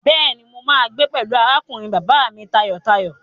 Bẹ́ẹ̀ni, mo máa gbé pẹ̀lú arákùnrin bàbá mi tayọ̀tayọ̀.